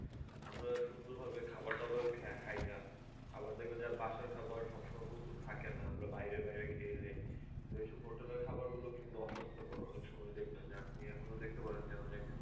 আমরা সুন্দর ভাবে খাওয়ার দাওয়ার খা~ খাই না আবার দেখবেন যে বাসার খাবার সব সময় প্রস্তুত থাকে না আমরা বাইরে বাইরে খেয়ে নি তো এসব hotel এর খাবার গুলো কিন্তু অস্বাস্থকর অনেক সময় দেখবেন যে আপনি এখনো দেখতে পারেন যে অনেক